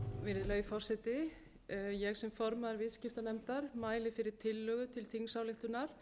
virðulegi forseti ég sem formaður viðskiptanefndar mæli fyrir tillögu til þingsályktunar